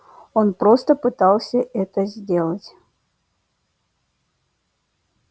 он просто пытался это сделать